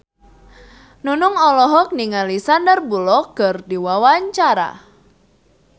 Nunung olohok ningali Sandar Bullock keur diwawancara